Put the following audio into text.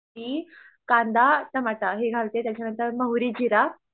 आणि कांदा टमाटा हे घालते त्याच्यामध्ये मोहरी जिरा